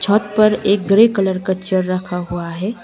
छत पर एक ग्रे कलर का चेयर रखा हुआ है।